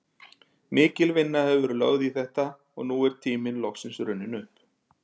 Mikil vinna hefur verið lögð í þetta og nú er tíminn loksins runninn upp.